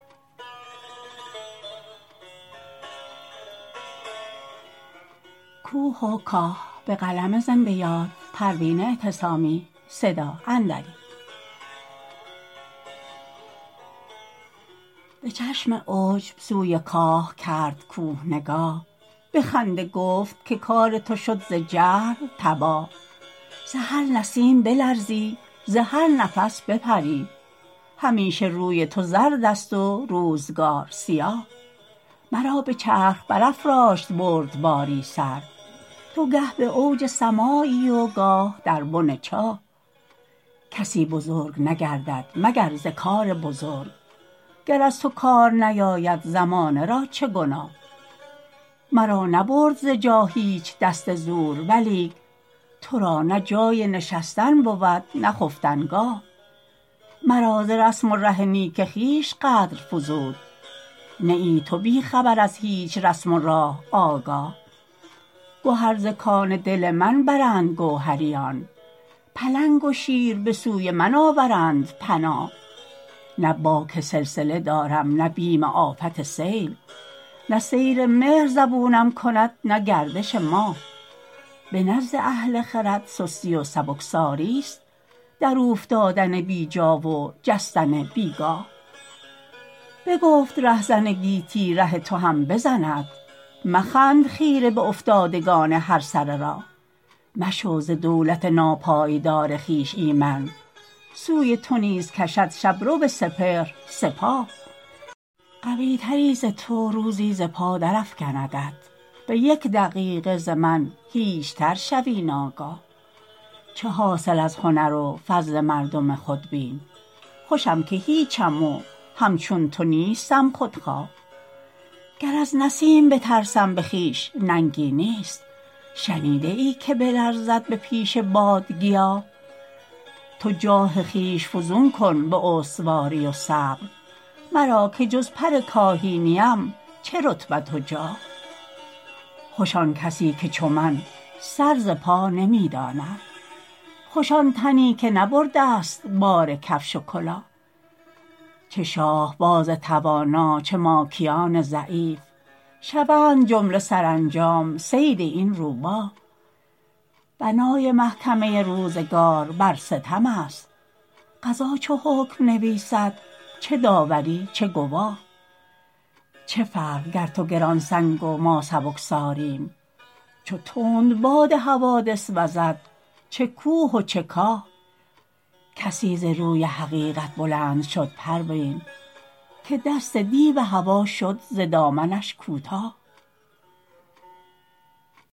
بچشم عجب سوی کاه کرد کوه نگاه بخنده گفت که کار تو شد ز جهل تباه ز هر نسیم بلرزی ز هر نفس بپری همیشه روی تو زرد است و روزگار سیاه مرا بچرخ برافراشت بردباری سر تو گه باوج سمایی و گاه در بن چاه کسی بزرگ نگردد مگر ز کار بزرگ گر از تو کار نیاید زمانه را چه گناه مرا نبرد ز جا هیچ دست زور ولیک ترا نه جای نشستن بود نه ز خفتنگاه مرا ز رسم و ره نیک خویش قدر فزود نه ای تو بیخبر از هیچ رسم و راه آگاه گهر ز کان دل من برند گوهریان پلنگ و شیر بسوی من آورند پناه نه باک سلسله دارم نه بیم آفت سیل نه سیر مهر زبونم کند نه گردش ماه بنزد اهل خرد سستی و سبکساریست در اوفتادن بیجا و جستن بیگاه بگفت رهزن گیتی ره تو هم بزند مخند خیره بافتادگان هر سر راه مشو ز دولت ناپایدار خویش ایمن سوی تو نیز کشد شبرو سپهر سپاه قویتری ز تو روزی ز پا در افکندت بیک دقیقه ز من هیچتر شوی ناگاه چه حاصل از هنر و فضل مردم خودبین خوشم که هیچم و همچون تو نیستم خودخواه گر از نسیم بترسم بخویش ننگی نیست شنیده ای که بلرزد به پیش باد گیاه تو جاه خویش فزون کن باستواری و صبر مرا که جز پر کاهی نیم چه رتبت و جاه خوش آن کسی که چو من سر ز پا نمیداند خوش آن تنی که نبردست بار کفش و کلاه چه شاهباز توانا چه ماکیان ضعیف شوند جمله سرانجام صید این روباه بنای محکمه روزگار بر ستم است قضا چو حکم نویسند چه داوری چه گواه چه فرق گر تو گرانسنگ و ما سبکساریم چو تندباد حوادث وزد چه کوه و چه کاه کسی ز روی حقیقت بلند شد پروین که دست دیو هوی شد ز دامنش کوتاه